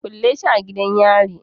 Kulle shi a gidan yari